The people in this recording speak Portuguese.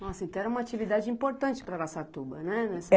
Nossa, então era uma atividade importante para Araçatuba, né?